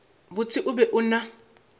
botse o be o na